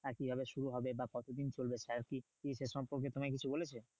কোথায় কি ভাবে শুরু হবে? বা কত দিন চলবে? sir কি এটা সম্পর্কে তোমায় কিছু বলেছে?